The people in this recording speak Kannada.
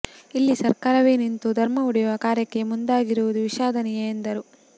ಇಲ್ಲಿ ಸರ್ಕಾರವೇ ನಿಂತು ಧರ್ಮ ಒಡೆಯುವ ಕಾರ್ಯಕ್ಕೆ ಮುಂದಾಗಿರುವುದು ವಿಷಾದನೀಯ ಎಂದರು